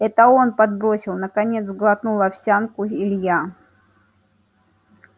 это он подбросил наконец сглотнул овсянку илья